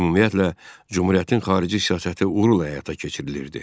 Ümumiyyətlə, Cümhuriyyətin xarici siyasəti uğurla həyata keçirilirdi.